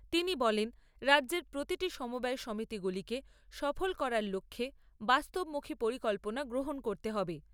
তিনি বলেন, রাজ্যের প্রতিটি সমবায় সমিতিকে সফল করার লক্ষ্যে বাস্তবমুখী পরিকল্পনা গ্রহণ করতে হবে।